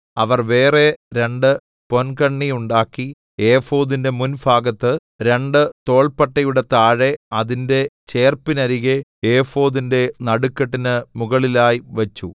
അവർ വേറെ രണ്ട് പൊൻകണ്ണി ഉണ്ടാക്കി ഏഫോദിന്റെ മുൻഭാഗത്ത് രണ്ട് തോൾപ്പട്ടയുടെ താഴെ അതിന്റെ ചേർപ്പിനരികെ ഏഫോദിന്റെ നടുക്കെട്ടിന് മുകളിലായി വച്ചു